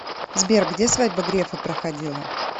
сбер где свадьба грефа проходила